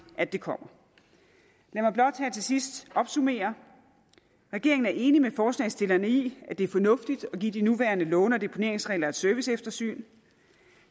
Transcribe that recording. at det kommer lad mig blot her til sidst opsummere regeringen er enig med forslagsstillerne i at det er fornuftigt at give de nuværende låne og deponeringsregler et serviceeftersyn